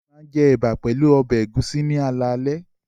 Olú máa jẹ ẹ̀bà pẹ̀lú ọbẹ̀ ẹ̀gúsí ní alaalẹ́.